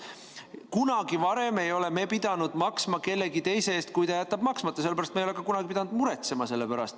Kunagi varem ei ole me pidanud maksma kellegi teise eest, kui keegi jätab maksmata, seetõttu me ei ole ka kunagi pidanud selle pärast muretsema.